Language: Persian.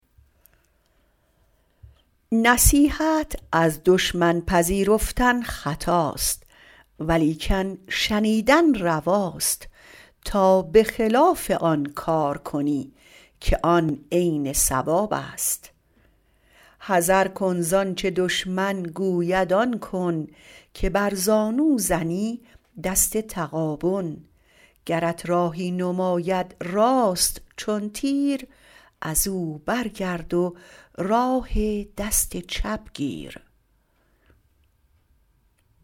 نصیحت از دشمن پذیرفتن خطاست ولیکن شنیدن رواست تا به خلاف آن کار کنی که آن عین صواب است حذر کن زآنچه دشمن گوید آن کن که بر زانو زنی دست تغابن گرت راهی نماید راست چون تیر از او برگرد و راه دست چپ گیر